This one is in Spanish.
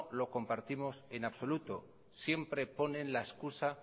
lo compartimos en absoluto siempre pone la excusa